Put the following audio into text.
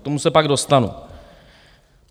K tomu se pak dostanu.